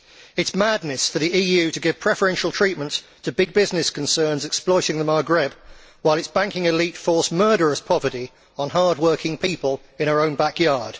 It is madness for the EU to give preferential treatment to big business concerns exploiting the Maghreb while its banking elite force murderous poverty on hard working people in our own back yard.